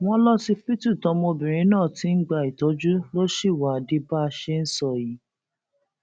wọn lọsibítù tọmọbìnrin náà ti ń gba ìtọjú ló sì wá di bá a ṣe ń sọ yìí